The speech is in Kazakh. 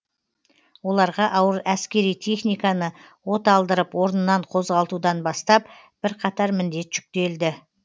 оларға ауыр әскери техниканы оталдырып орнынан қозғалтудан бастап бірқатар міндет жүктелді